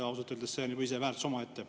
Ausalt öeldes see on ise juba väärtus omaette.